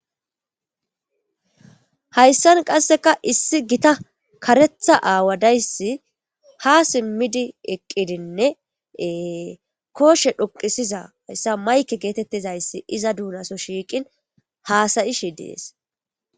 Hayssan qasseka issi gita karetha aawadayssi ha simmidi eqqidinnee kooshe dhoqisiza hayssa mayke geetettizayssi iza duunaso shiiqin haasayishi dees.